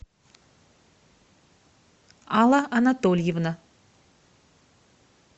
алла анатольевна